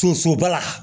Sosoba la